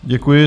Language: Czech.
Děkuji.